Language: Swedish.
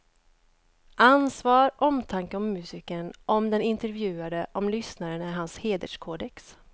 Ansvar, omtanke om musikern, om den intervjuade, om lyssnaren är hans hederskodex.